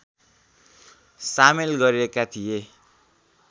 सामेल गरिएका थिए